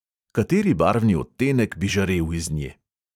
Kateri barvni odtenek bi žarel iz nje?